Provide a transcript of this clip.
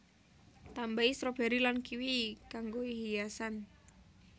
Tambahi stroberi lan kiwi kanggoi hiasan